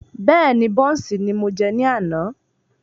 Bẹ́ẹ́ni, bọ́ùnsì ni mo jẹ ní àná.